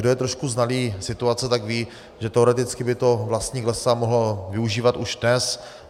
Kdo je trošku znalý situace, tak ví, že teoreticky by to vlastník lesa mohl využívat už dnes.